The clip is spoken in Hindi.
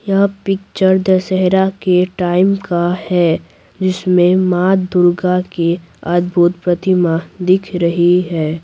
यह पिक्चर दशहरा के टाइम का हैं जिसमें माँ दुर्गा के अद्भुत प्रतिमा दिख रही है।